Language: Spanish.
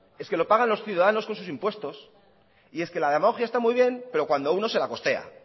es que lo pagan los ciudadanos con sus impuestos y es que la demagogia está muy bien pero cuando uno se la costea